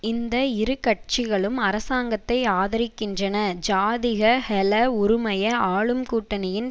இந்த இரு கட்சிகளும் அரசாங்கத்தை ஆதரிக்கின்றன ஜாதிக ஹெல உறுமய ஆளும் கூட்டணியின்